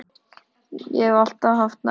Ég hef alltaf haft nagla.